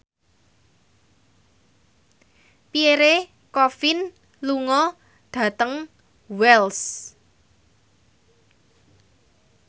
Pierre Coffin lunga dhateng Wells